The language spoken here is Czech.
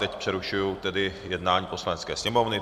Teď přerušuji tedy jednání Poslanecké sněmovny.